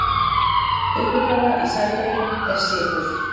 Uppistaða í sælgæti er sykur.